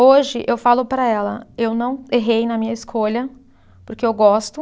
Hoje eu falo para ela, eu não errei na minha escolha, porque eu gosto.